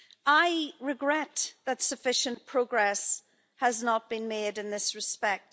I regret that sufficient progress has not been made in this respect.